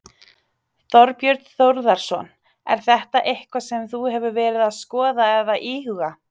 Þorbjörn Þórðarson: Er þetta eitthvað sem þú hefur verið að skoða eða íhuga?